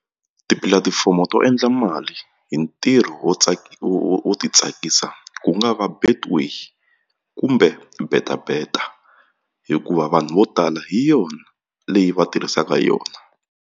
Tipulatifomo to endla mali hi ntirho wo wo ti tsakisa ku nga va Betway kumbe betabeta hikuva vanhu vo tala hi yona leyi va tirhisaka hi yona.